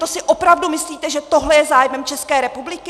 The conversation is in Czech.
To si opravdu myslíte, že tohle je zájmem České republiky?